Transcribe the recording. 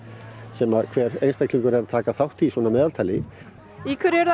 sem hver er að taka þátt í að meðaltali í hverju eruð